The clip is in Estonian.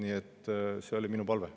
Nii et see oli minu palve.